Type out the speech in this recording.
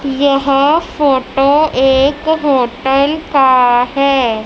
यह फोटो एक होटल का है।